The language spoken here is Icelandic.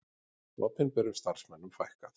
Opinberum starfsmönnum fækkað